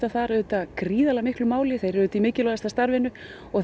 þar auðvitað gríðarlegu máli þeir eru auðvitað í mikilvægasta starfinu og